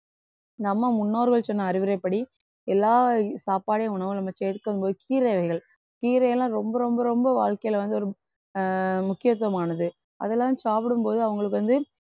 நம்ம முன்னோர்கள் சொன்ன அறிவுரைப்படி எல்லா சாப்பாடையும் உணவா நம்ம சேர்க்கும்போது கீரை வகைகள் கீரை எல்லாம் ரொம்ப ரொம்ப ரொம்ப வாழ்க்கையில வந்து ஒரு அஹ் முக்கியத்துவமானது அதெல்லாம் சாப்பிடும்போது அவங்களுக்கு வந்து